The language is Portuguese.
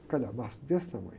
Um calhamaço desse tamanho.